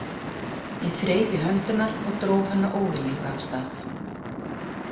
Ég þreif í hönd hennar og dró hana óviljuga af stað.